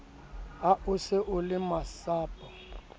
ha o se o lemasapo